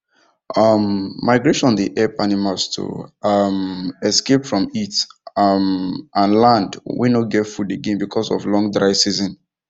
um migration dey help animals to um escape from heat um and land wen nor get food again because of long dry season